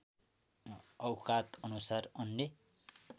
औकाद अनुसार अन्य